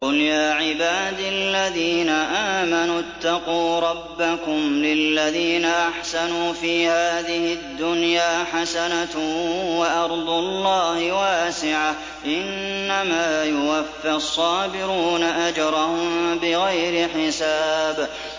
قُلْ يَا عِبَادِ الَّذِينَ آمَنُوا اتَّقُوا رَبَّكُمْ ۚ لِلَّذِينَ أَحْسَنُوا فِي هَٰذِهِ الدُّنْيَا حَسَنَةٌ ۗ وَأَرْضُ اللَّهِ وَاسِعَةٌ ۗ إِنَّمَا يُوَفَّى الصَّابِرُونَ أَجْرَهُم بِغَيْرِ حِسَابٍ